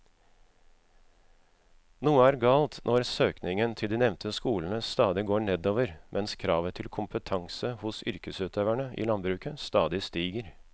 Noe er galt når søkningen til de nevnte skolene stadig går nedover mens kravet til kompetanse hos yrkesutøverne i landbruket stadig stiger.